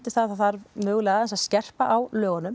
það þarf aðeins að skerpa á lögunum